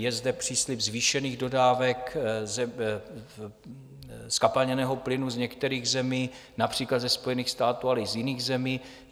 Je zde příslib zvýšených dodávek zkapalněného plynu z některých zemí, například ze Spojených států, ale i z jiných zemí.